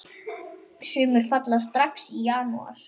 Sumir falla strax í janúar.